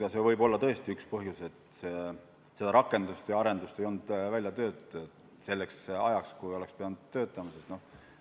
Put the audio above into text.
Ja see võib olla tõesti üks põhjus, et seda rakendust ja arendust ei olnud välja töötatud selleks ajaks, kui see oleks pidanud olemas olema.